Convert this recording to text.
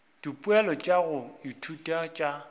dipoelo tša go ithuta tša